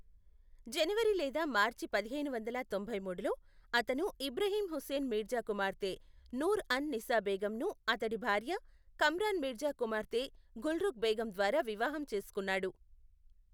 జనవరి లేదా మార్చి పదిహేను వందల తొంభై మూడులో, అతను ఇబ్రహీం హుస్సేన్ మీర్జా కుమార్తె నూర్ అన్ నిసా బేగంను అతడి భార్య, కమ్రాన్ మీర్జా కుమార్తె గుల్రుఖ్ బేగం ద్వారా వివాహం చేసుకున్నాడు.